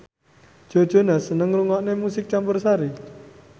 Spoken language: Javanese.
Joe Jonas seneng ngrungokne musik campursari